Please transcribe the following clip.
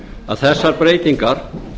að þessar breytingar